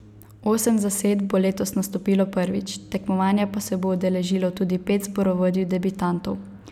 Osem zasedb bo letos nastopilo prvič, tekmovanja pa se bo udeležilo tudi pet zborovodij debitantov.